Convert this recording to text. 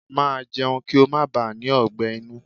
Màá jẹun kí ó má baà ní ọgbẹ́ inú!